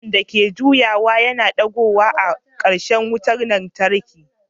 Tushen da ke juyawa yana da goga a ƙarshen wanda ke kawo wutar lantarki.